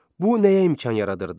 Bu nəyə imkan yaradırdı?